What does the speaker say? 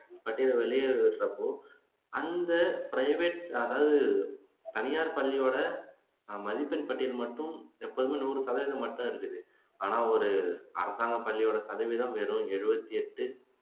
பட்டியல் வெளியிடுறது தப்பு அந்த பிரைவேட் அதாவது தனியார் பள்ளியோட மதிப்பெண் பட்டியல் மட்டும் எப்போதுமே நூறு சதவீதம் மாட்டும் இருக்குது ஆனா ஒரு அரசாங்க பள்ளியோட சதவீதம் வெறும் எழுபத்தி எட்டு